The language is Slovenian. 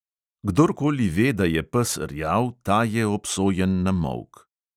Kdorkoli ve, da je pes rjav, ta je obsojen na molk.